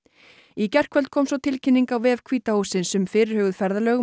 í gærkvöld kom svo tilkynning á vef hvíta hússins um fyrirhuguð ferðalög